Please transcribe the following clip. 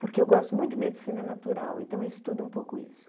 Porque eu gosto muito de medicina natural, então eu estudo um pouco isso.